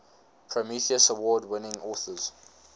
prometheus award winning authors